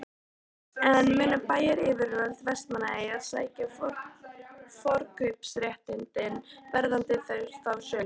En munu bæjaryfirvöld Vestmannaeyja sækja forkaupsréttinn varðandi þá sölu?